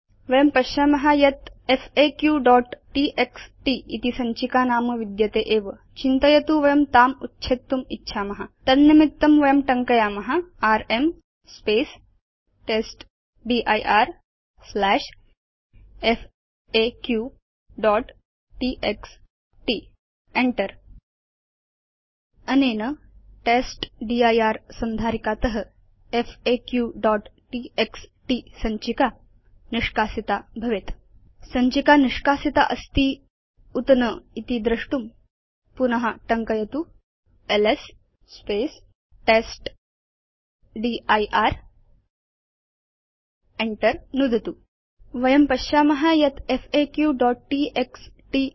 वयं पश्याम यत् faqटीएक्सटी इति सञ्चिका नाम विद्यते एव चिन्तयतु वयं ताम् उच्छेत्तुम् इच्छाम तन्निमित्तं वयं टङ्कयाम र्म् testdirfaqटीएक्सटी enter नुदतु च अनेन testdir संधारिकात faqटीएक्सटी सञ्चिका निष्कासिता भवेत् सञ्चिका निष्कासिता अस्ति उत न इति द्रष्टुं पुन टङ्कयतु एलएस टेस्टदिर् enter नुदतु च वयं पश्याम यत् faqटीएक्सटी